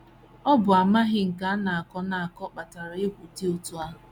Ọ bụ amaghị nke a na - akọ na - akọ na - akpatakarị egwu dị otú ahụ.